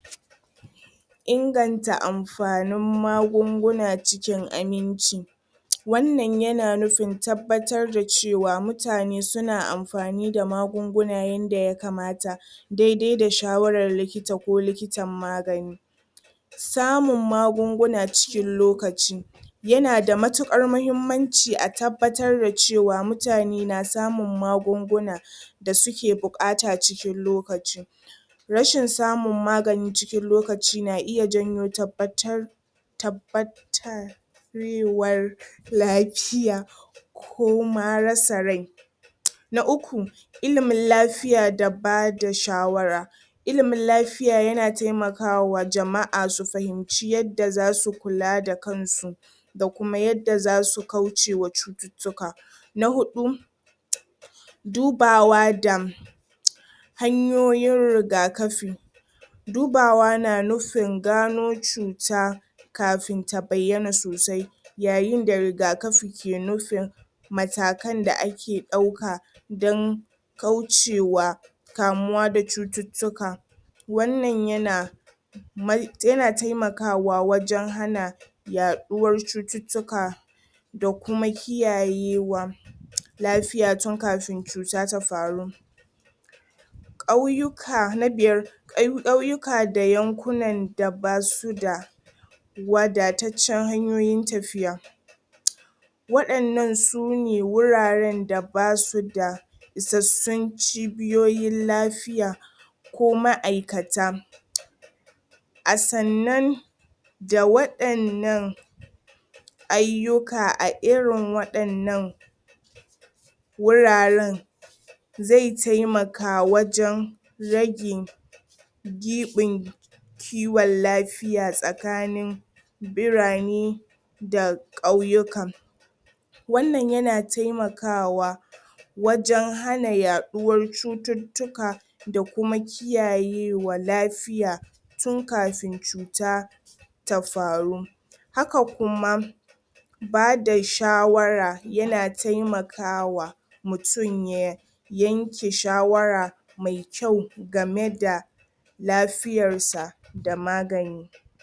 ? inganta amfanin magunguna cikin aminci wannan yana nufin tabbatar da cewa mutane suna amfani da magunguna yadda ya kamata dai-dai da shawarar likita ko likitan magani samun magunguna cikin lokaci yanada matukar mahimmanci a tabbatar da cewa mutane na samun magunguna da suke bukata cikin lokaci rashin samun magani cikin lokaci na iya janyo uhm uhm lafiya ko ma rasa rai na uku ilimin lafiya da bada shawara ilimin lafiya yana taimakawa jama'a su fahimci yacce za su kula da kansu da kuma yadda zasu kaucewa cututtuka, na hudu dubawa da hanyoyin rigakafin dubawa na nufin gano cuta kafin ta bayyana sosai yayin da rigakafi ke nufin matakan da ake dauka don kaucewa kamuwa da cututtuka wannan yana yana taimakawa wajen hana yaɗuwar cututtuka da kuma kiyayewa lafiya tun kafin cuta ta faru kauyuka, na biyar, kauyuka da yankunan da basu da wadatacen hanyoyin tafiya waɗannan sune wuraren da basu da isassun cibiyoyin lafiya ko ma'aikata a sannan da waɗannan ayyuka a irin waɗannan wuraren zai taimaka wajen rage giɓin kiwon lafiya tsakanin birane da kauyukan wannan yana taimakawa wajen hana yaɗuwar cututtukan da kuma kiyayewa lafiya tun kafin cuta ta faru haka kuma bada shawara yana taimakawa mutum ya yanke shawara mai kyau game da lafiyarsa da magani